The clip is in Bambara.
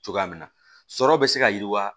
Cogoya min na sɔrɔ bɛ se ka yiriwa